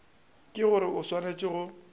ke gore o swanetše go